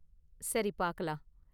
சரி பார்க்கலாம்.